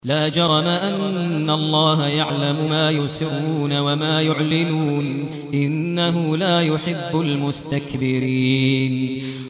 لَا جَرَمَ أَنَّ اللَّهَ يَعْلَمُ مَا يُسِرُّونَ وَمَا يُعْلِنُونَ ۚ إِنَّهُ لَا يُحِبُّ الْمُسْتَكْبِرِينَ